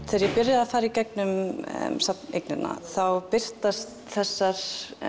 þegar ég byrjaði að fara gegnum þá birtast þessari